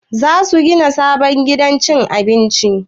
Za su gina sabon gidan cin abinci?